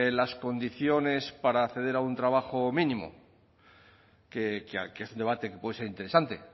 las condiciones para acceder a un trabajo mínimo que es un debate que puede ser interesante